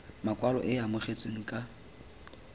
makwalo e e amogetsweng ka